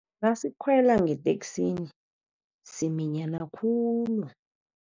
Nasikhwela ngeteksini siminyana khulu.